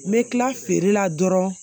N bɛ kila feere la dɔrɔn